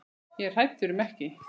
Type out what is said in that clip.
Ég er hræddur um ekki.